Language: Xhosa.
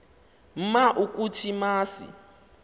ma ukuthi masi